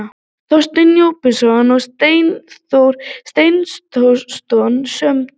Þorsteinn Jósepsson og Steindór Steindórsson sömdu.